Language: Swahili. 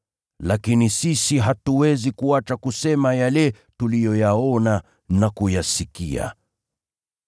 Lakini sisi hatuwezi kuacha kusema yale tuliyoyaona na kuyasikia.”